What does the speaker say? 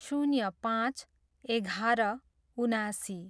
शून्य पाँच, एघार, उनासी